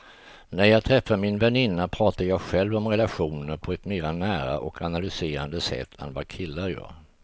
När jag träffar min väninna pratar jag själv om relationer på ett mer nära och analyserande sätt än vad killar gör.